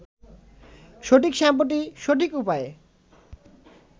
সঠিক শ্যাম্পুটি সঠিক উপায়ে